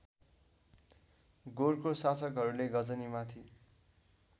गोरको शासकहरूले गजनीमाथि